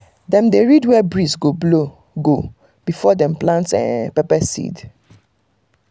them dey read wey breeze go blow go before dem plant um pepper seed um